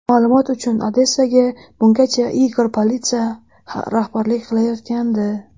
Ma’lumot uchun, Odessaga bungacha Igor Palitsa rahbarlik qilayotgandi.